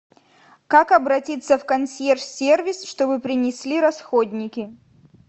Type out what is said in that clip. как обратиться в консьерж сервис чтобы принесли расходники